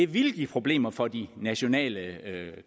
ville give problemer for de nationale